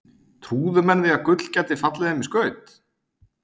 Trúðu menn því að gull gæti fallið þeim í skaut?